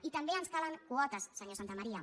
i també ens calen quotes senyor santamaría